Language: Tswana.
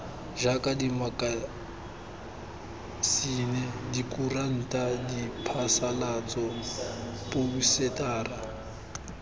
jaaka dimakasine dikuranta diphasalatso phousetara